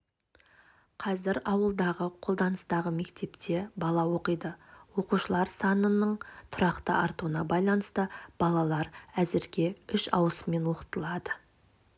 қазір ауылдағы қолданыстағы мектепте бала оқиды оқушылар санының тұрақты артуына байланысты балалар әзірге үш ауысыммен оқытылады